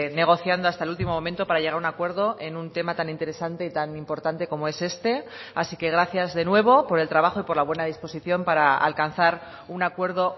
negociando hasta el último momento para llegar a un acuerdo en un tema tan interesante y tan importante como es este así que gracias de nuevo por el trabajo y por la buena disposición para alcanzar un acuerdo